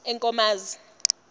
enkomazi